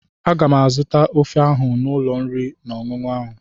Aga m azụta ofe ọha n'ụlọ oriri na ọṅụṅụ ahụ.